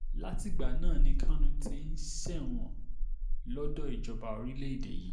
látìgbà náà ni kánù ti ń ṣẹ̀wọ̀n lọ́dọ̀ ìjọba orílẹ̀‐èdè yìí